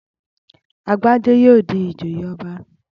Agbájé yóò di ìjòyè ọba